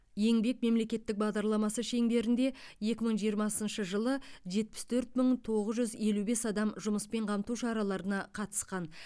еңбек мемлекеттік бағдарламасы шеңберінде екі мың жиырмасыншы жылы жетпіс төрт мың тоғыз жүз елу бес адам жұмыспен қамту шараларына қатысқан